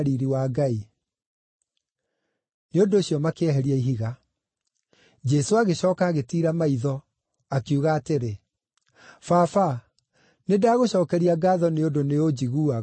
Nĩ ũndũ ũcio makĩeheria ihiga. Jesũ agĩcooka agĩtiira maitho, akiuga atĩrĩ, “Baba, nĩndagũcookeria ngaatho nĩ ũndũ nĩũnjiguaga.